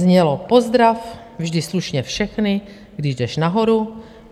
Znělo: Pozdrav vždy slušně všechny, když jdeš nahoru.